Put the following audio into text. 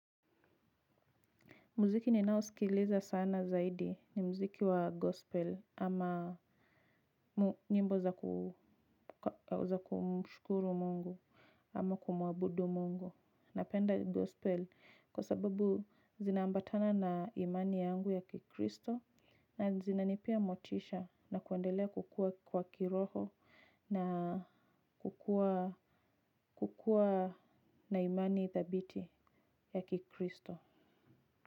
Muziki ninao sikiliza sana zaidi ni muziki wa gospel ama mu nyimbo za kumshukuru Mungu ama kumuabudu Mungu. Napenda gospel kwa sababu zinaambatana na imani yangu ya kikristo na zina nipea motisha na kuendelea kukua kwa kiroho na kukua kukua na imani thabiti ya kikristo.